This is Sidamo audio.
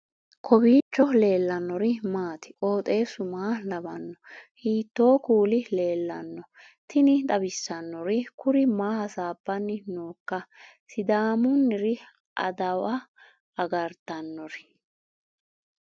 kowiicho leellannori maati ? qooxeessu maa lawaanno ? hiitoo kuuli leellanno ? tini xawissannori kuri maa hasaabbanni nooikka sidaamunniri adawa agartannori